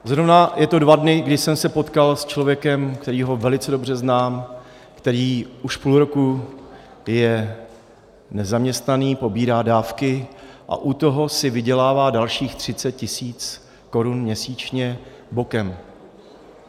Zrovna je to dva dny, kdy jsem se potkal s člověkem, kterého velice dobře znám, který už půl roku je nezaměstnaný, pobírá dávky a u toho si vydělává dalších 30 tisíc korun měsíčně bokem.